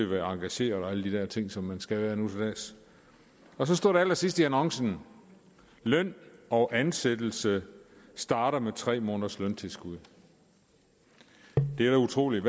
være engageret og alle de der ting som man skal være nu til dags og så stod der allersidst i annoncen løn og ansættelse starter med tre måneders løntilskud det er jo utroligt